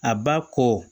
A ba ko